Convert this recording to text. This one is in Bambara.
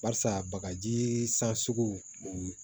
Barisa bagaji san sugu